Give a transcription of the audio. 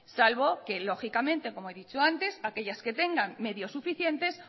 salvo que lógicamente como ya he dicho antes aquellas que tengan medios suficientes